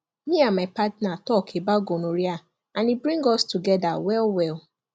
me and my partner talk about gonorrhea and e bring us together well well